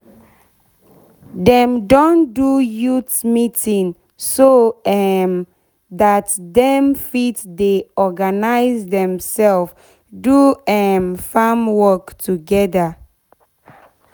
dem don do youth meeting so um dat dem fit dey organize demsef do um farm work togeda